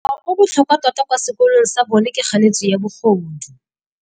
Molao o o botlhokwa tota kwa sekolong sa bone ke kganetsô ya bogodu.